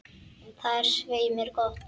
Það er svei mér gott.